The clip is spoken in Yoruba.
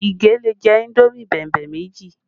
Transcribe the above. Ige lè jẹ indomi bẹ̀mbẹ̀ méjì